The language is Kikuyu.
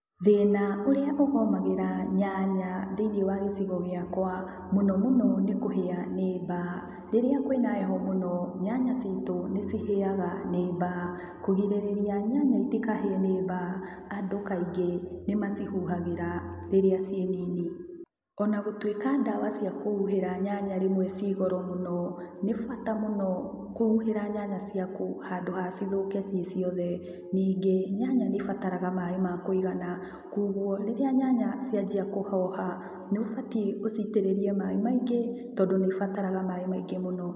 Thĩna ũrĩa ũgomagĩra nyanya thĩiniĩ wa gĩcigo gĩakwa mũno mũno nĩkũhĩa nĩ mbaa. Rĩrĩa kwĩ na heho mũno nyanya citũ nĩcihĩaga nĩ mbaa. Kũgirĩrĩria nyanya itikahĩe nĩ mbaa andũ kaingĩ nĩmacihuhagĩra rĩrĩa ciĩ nini. Onagũtuĩka dawa cia kũhuhĩra nyanya rĩmwe ciĩ goro mũno, nĩbata mũno kũhuhĩra nyanya ciaku handũ ha cithũke ciĩ ciothe. Ningĩ nyanya nĩibataraga maĩ ma kũigana kuoguo rĩrĩa nyanya cianjia kũhoha nĩũbatiĩ ũcitĩrĩrie mai maingĩ tondũ nĩ ibataraga maĩ maingĩ muno.